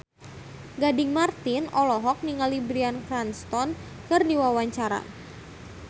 Gading Marten olohok ningali Bryan Cranston keur diwawancara